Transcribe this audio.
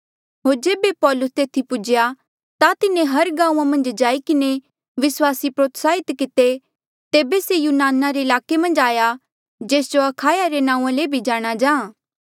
होर जेबे पौलुस तेथी पूजेया ता तिन्हें हर गांऊँआं मन्झ जाई किन्हें विस्वासी प्रोत्साहित किते तेबे से यूनान रे ईलाके मन्झ आया जेस जो अखाया रे नांऊँआ ले भी जाणा जा